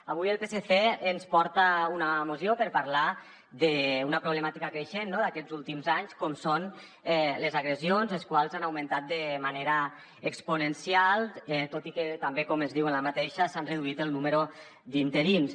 avui el psc ens porta una moció per parlar d’una problemàtica creixent d’aquests últims anys com són les agressions les quals han augmentat de manera exponencial tot i que també com es diu en aquesta s’han reduït el número d’interns